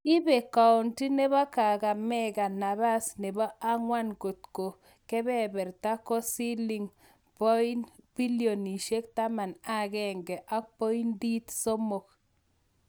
ibe kaonti nepo Kakamega nabaas nebo angwan kotko kebeberta ko siling pilionisieg taman ak agenge ak poindit somok